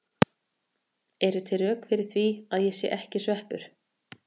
Eru til rök fyrir því að ég sé ekki sveppur?